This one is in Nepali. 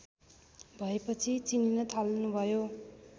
भएपछि चिनिन थाल्नुभयो